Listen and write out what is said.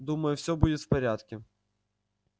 думаю всё будет в порядке